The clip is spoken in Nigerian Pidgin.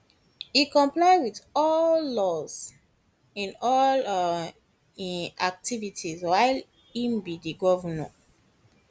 e comply with all laws in all um im activities while e be di govnor